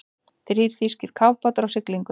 Þrír þýskir kafbátar á siglingu.